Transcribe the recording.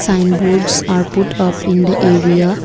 Signboards are put up in the area.